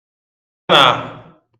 nan um